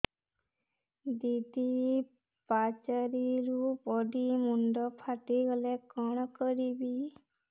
ଦିଦି ପାଚେରୀରୁ ପଡି ମୁଣ୍ଡ ଫାଟିଗଲା କଣ କରିବି